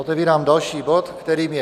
Otevírám další bod, kterým je